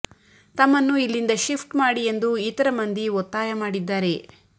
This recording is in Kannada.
ತಮ್ಮನ್ನು ಇಲ್ಲಿಂದ ಶಿಫ್ಟ್ ಮಾಡಿ ಎಂದು ಇತರ ಮಂದಿ ಒತ್ತಾಯ ಮಾಡಿದ್ದಾರೆ